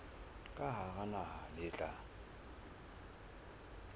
ka hara naha le tla